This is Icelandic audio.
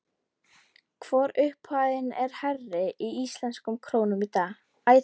Hvor upphæðin er hærri íslenskum krónum í dag?